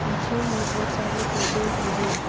पीछे में बहुत सारे पर्दे भी है।